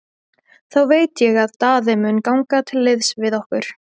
Þá veit ég að Daði mun ganga til liðs við okkur.